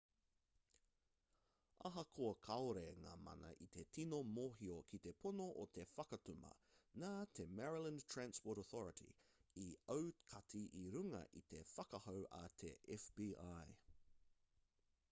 ahakoa kāore ngā mana i te tino mōhio ki te pono o te whakatuma nā te maryland transportation authority i aukati i runga i te whakahau a te fbi